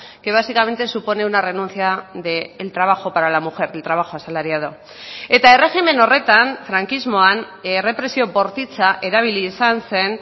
que básicamente supone una renuncia del trabajo para la mujer del trabajo asalariado eta erregimen horretan frankismoan errepresio bortitza erabili izan zen